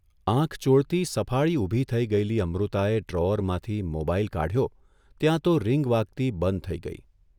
આંખ ચોળતી, સફાળી ઊભી થઇ ગયેલી અમૃતાએ ડ્રોઅરમાંથી મોબાઇલ કાઢચો ત્યાં તો રિંગ વાગતી બંધ થઇ ગઇ.